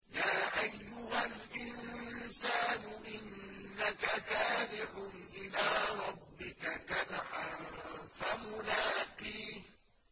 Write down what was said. يَا أَيُّهَا الْإِنسَانُ إِنَّكَ كَادِحٌ إِلَىٰ رَبِّكَ كَدْحًا فَمُلَاقِيهِ